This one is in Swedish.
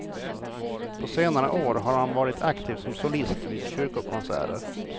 På senare år har han varit aktiv som solist vid kyrkokonserter.